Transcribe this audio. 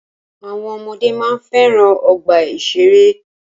Àwọn ọmọdé máa ń fẹ́ràn ọgbà ìṣẹ̀rẹ́.